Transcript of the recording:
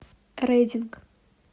рединг